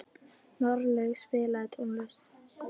Marlaug, spilaðu tónlist.